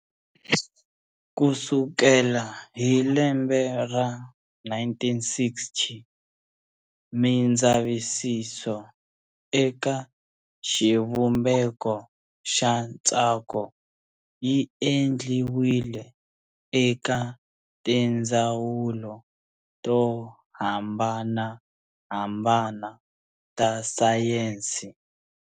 Kusukela hi lembe ra 1960, mindzavisiso eka xivumbeko xa ntsako yi endliwile eka tindzawulo to hambanahambana ta sayensi.